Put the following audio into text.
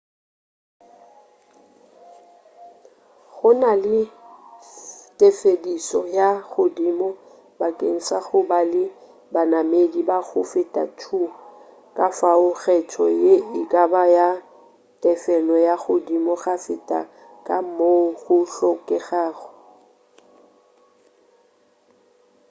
go na le tefedišo ya godimo bakeng sa go ba le banamedi ba go feta 2 kafao kgetho ye e ka ba ya tefelo ya godimo go feta ka moo go hlokegago